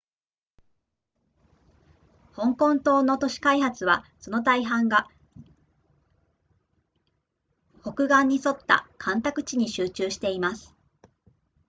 香港島の都市開発はその大半が北岸に沿った干拓地に集中しています